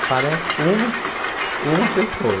Aparece uma uma pessoa.